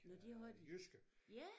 Nå det har de? Ja